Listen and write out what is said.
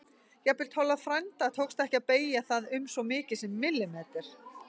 Jafnvel Tolla frænda tókst ekki að beygja það um svo mikið sem millimeter.